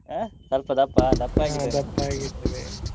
ಹ ಸ್ವಲ್ಪ ದಪ್ಪ ದಪ್ಪಾಗಿದ್ದಾನೆ.